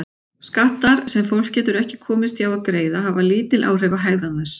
Skattar sem fólk getur ekki komist hjá að greiða hafa lítil áhrif á hegðun þess.